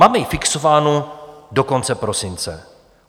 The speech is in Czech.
Máme ji fixovánu do konce prosince.